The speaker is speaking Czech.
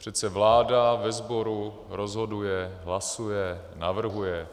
Přece vláda ve sboru rozhoduje, hlasuje, navrhuje.